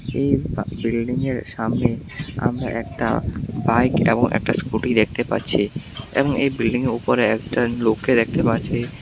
এই বা বিল্ডিংয়ের সামনে আমরা একটা বাইক এ্যাবং একটা স্কুটি দেখতে পাচ্ছি এবং এই বিল্ডিংয়ের উপরে একটা লোককে দেখতে পাচ্ছি।